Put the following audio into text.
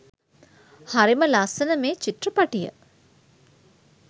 හරිම ලස්සන මේ චිත්‍රපටිය